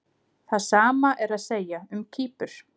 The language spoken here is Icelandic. Það sama er að segja um Kýpur.